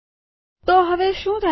તો હવે શું થાય છે